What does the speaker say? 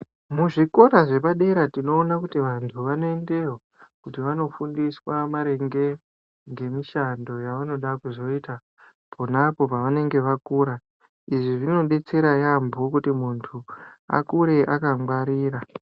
Muzvikora zvepadera tinoona kuti vantu vanoendayo kuti vandofundiswa maringe ngemishando yavanonge veida kuzoita pona pavanenge vakura. Izvi zvinodetsera yaambo kuti muntu akure akangwarira.